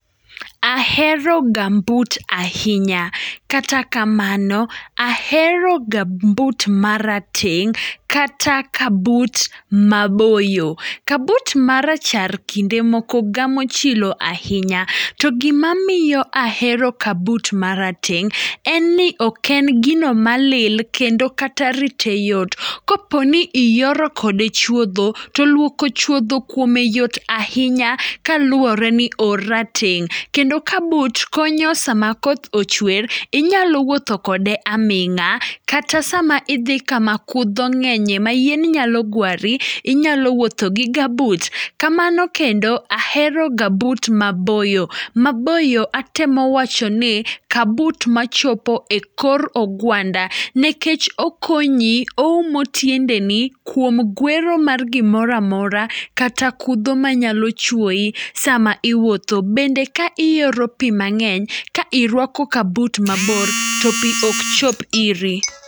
Ahero gumboot ahinya. Kata kamano ahero gumboot marateng' kata kabut maboyo. Kabut marachar kinde moko gamo chilo ahinya, to gimamiyo ahero kabut marateng', en ni oken gino malil, kendo kata rite yot. Koponi iyoro kode chuodho, to luoko chuodho kuome yot ahinya kaluoreni orateng', kendo kabut konyo sama koth ochwer, inyalo wuotho kode aming'a, kata sama idhi kama kudho ng'enye mayien nyalo gwari, inyalo wuotho gi gabut. Kamano kendo aheroga gabut maboyo, maboyo atemo wachano ni kabut machopo e kor ogwanda, nikech okonyi oumo tiendeni kuom gwero mar gimora mora, kata kudho manyalo chuoyi sama iwuotho, bende kaiyoro pii mang'eny, kairuako kabut mabor to pii okchop iri.